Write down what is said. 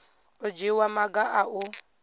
u dzhiwa maga a u